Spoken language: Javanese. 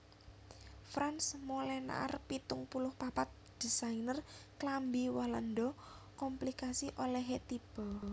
Frans Molenaar pitung puluh papat désainer klambi Walanda komplikasi olèhé tiba